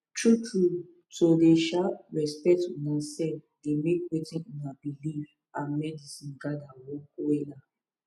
true trueto dey um respect una sef dey make wetin una believe and medicine gather work wella